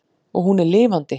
Og hún er lifandi.